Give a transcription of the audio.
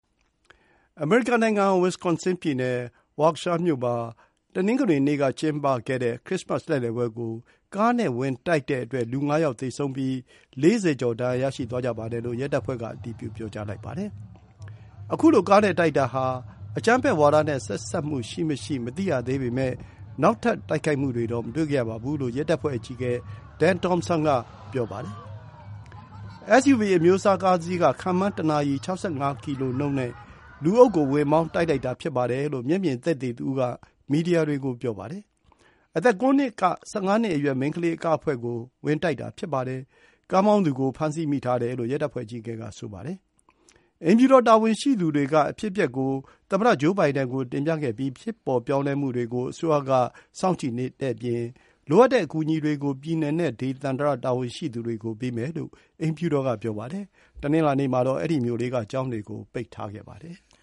အမေရိကန် နိုင်ငံ၊ Wisconsin ပြည်နယ် ဝါကရှားမြို့ Waukesha မှာ တနင်္ဂနွေနေ့ က ကျင်းပခဲ့တဲ့ ခရစ္စမတ်လှည့်လည်ပွဲကို ကားနဲ့ဝင်တိုက်တဲ့အတွက် လူ ၅ ယောက် သေဆုံးပြီး ၄၀ ကျော် ဒဏ်ရာရှိသွားကြပါတယ်လို့ ရဲတပ်ဖွဲ့က အတည်ပြု ပြောကြားပါတယ်။ ခုလို ကားနဲ့တိုက်တာဟာ အကြမ်းဖက်ဝါဒနဲ့ ဆက်စပ်မှု ရှိမရှိတော့ မသိရသေးပေမဲ့ နောက်ထပ် တိုက်ခိုက်မှုတွေတော့ မတွေ့ခဲ့ရပါဘူးလို့ ရဲတပ်ဖွဲ့ အကြီးအကဲ Dan Thompson က ပြောပါတယ်။ SUV အမျိုးအစား ကားတစီးက ခန့်မှန်း တနာရီ ၆၅ ကီလိုနှုန်းနဲ့ လူအုပ်ထဲကို ဝင် မောင်းတိုက်တာလို့ မျက်မြင်သက်သေတဦးက မီဒီယာကို ပြောပါတယ်။အသက် ၉ နှစ် က ၁၅ နှစ် အရွယ် မိန်းခလေး အကအဖွဲ့ကို ဝင်တိုက်တာဖြစ်ပါတယ်။ ကားမောင်းသူကို ဖမ်းဆီးမိထားတယ်လို့ ရဲတပ်ဖွဲ့ အကြီးအကဲက ဆိုပါတယ်။ အိမ်ဖြူတော်တာဝန်ရှိသူတွေက အဖြစ်အပျက်ကို သမ္မတဂျိုးဘိုင်ဒင်ကို တင်ပြခဲ့ပြီး ဖြစ်ပေါ်ပြောင်းလဲမှုတွေကို အစိုးရက ကြည့်နေတဲ့အပြင် လိုအပ်တဲ့အကူအညီတွေကို ပြည်နယ်နဲ့ ဒေသန္တရ တာဝန်ရှိသူတွေကို ပေးမယ်လို့ အိမ်ဖြူတော်က ပြောပါတယ်။ တနင်္လာနေ့မှာတော့ အဲဒီ မြို့လေးက ကျောင်းတွေကို ပိတ်ထားပါတယ်။